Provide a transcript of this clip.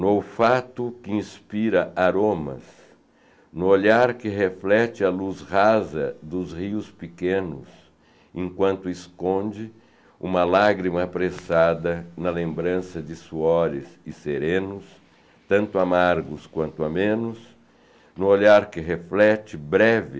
No olfato que inspira aromas, no olhar que reflete a luz rasa dos rios pequenos, enquanto esconde uma lágrima apressada na lembrança de suores e serenos, tanto amargos quanto amenos, no olhar que reflete breve